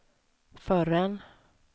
förrän